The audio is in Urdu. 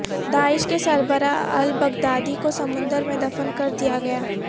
داعش کے سربراہ البغدادی کو سمندر میں دفن کر دیا گیا